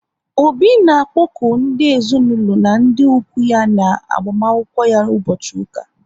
Obi na akpoku ndị ezinaụlọ na ndị ụkwụ ya na agbamakwụkwọ ya ụbọchị ụka